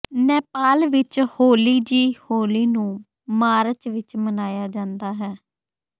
ਨੇਪਾਲ ਵਿਚ ਹੋਲੀਜ਼ੀ ਹੋਲੀ ਨੂੰ ਮਾਰਚ ਵਿਚ ਮਨਾਇਆ ਜਾਂਦਾ ਹੈ